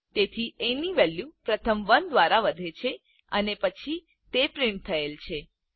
તેથી એ ની વેલ્યુ પ્રથમ 1 દ્વારા વધે છે અને પછી તે પ્રિન્ટ થયેલ છે